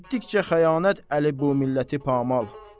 Etdikcə xəyanət Əli bu milləti pamal.